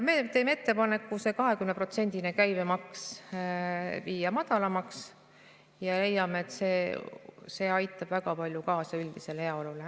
Me teeme ettepaneku see 20%-line käibemaks viia madalamaks ja leiame, et see aitab väga palju kaasa üldisele heaolule.